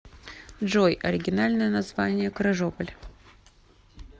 джой оригинальное название крыжополь